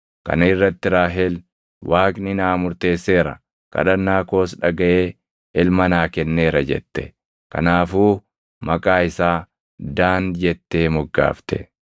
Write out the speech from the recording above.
Kana irratti Raahel, “Waaqni naa murteesseera; kadhannaa koos dhagaʼee ilma naa kenneera” jette. Kanaafuu maqaa isaa Daan jettee moggaafte.